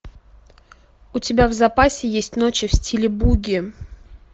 у тебя в запасе есть ночи в стиле буги